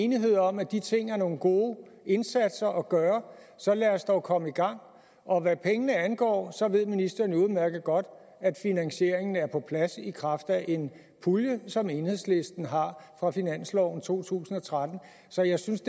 enighed om at de ting er nogle gode indsatser at gøre så lad os dog komme i gang og hvad pengene angår ved ministeren jo udmærket godt at finansieringen er på plads i kraft af en pulje som enhedslisten har fra finansloven for to tusind og tretten så jeg synes